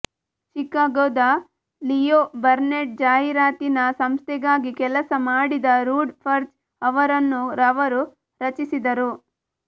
ಚಿಕಾಗೊದ Leo Burnett ಜಾಹೀರಾತಿನ ಸಂಸ್ಥೆಗಾಗಿ ಕೆಲಸ ಮಾಡಿದ ರೂಡಿ ಪರ್ಜ್ ಅವರನ್ನು ಅವರು ರಚಿಸಿದರು